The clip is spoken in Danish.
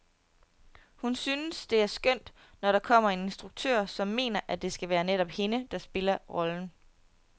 Hun syntes det er skønt, når der kommer en instruktør, som mener, at det skal være netop hende, der spiller rollen.